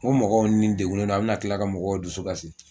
Ko mɔgɔw ni degunnen don a' bɛna tila ka mɔgɔw dusu kasi